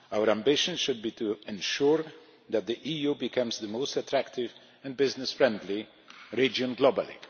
Our ambition should be to ensure that the EU becomes the most attractive and business-friendly region globally.